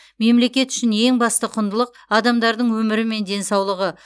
мемлекет үшін ең басты құндылық адамдардың өмірі мен денсаулығы